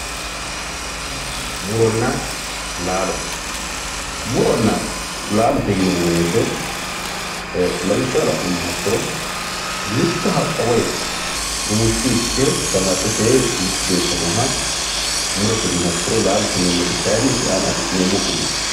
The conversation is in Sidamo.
muronna laalo muronna laalote yineemmo woyte lawishshaho la'nummoha ikkiro mitto haqqa rumushshuyi iske damattete geeshsha nooha murote yiniha ikkiro laalote yineemmoti isi aana af'neemo gumaati